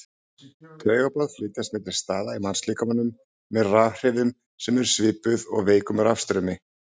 Taugaboð flytjast milli staða í mannslíkamanum með rafhrifum sem eru svipuð veikum rafstraumi.